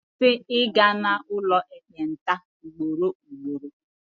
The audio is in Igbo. Kwụsị ịga n'ụlọ ekpenta ugboro ugboro!